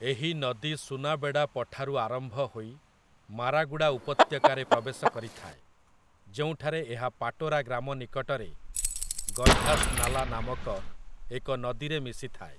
ଏହି ନଦୀ ସୁନାବେଡ଼ା ପଠାରୁ ଆରମ୍ଭ ହୋଇ ମାରାଗୁଡ଼ା ଉପତ୍ୟକାରେ ପ୍ରବେଶ କରିଥାଏ, ଯେଉଁଠାରେ ଏହା ପାଟୋରା ଗ୍ରାମ ନିକଟରେ ଗୈଧାସ୍‌ନାଲା ନାମକ ଏକ ନଦୀରେ ମିଶିଥାଏ ।